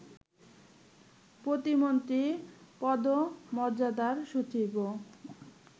প্রতিমন্ত্রী পদমর্যাদার সচিবও